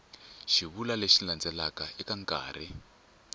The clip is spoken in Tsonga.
xivulwa lexi landzelaka eka nkarhi